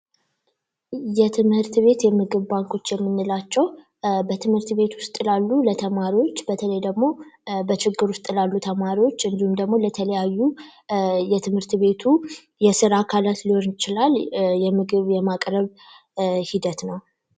የትምህርት ቤት የምግብ ባንኮች የምንላቸው በትምህርት ቤት ውስጥ ለተማሪዎች በተሞ በችግር ውስጥ ያሉ ተማሪዎች ደግሞ ለተለያዩ የትምህርት ቤቱ የስራ አካላት ሊሆን ይችላል የምግብ የማቅረብ ሂደት ነ።